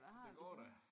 Så det går da